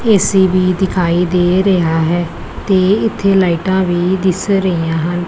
AC ਵੀ ਦਿਖਾਈ ਦੇ ਰਿਹਾ ਹੈ ਤੇ ਇੱਥੇ ਲਾਈਟਾਂ ਵੀ ਦਿਸ ਰਹੀਆਂ ਹਨ।